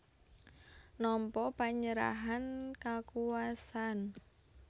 Nampa panyerahan kakuwasan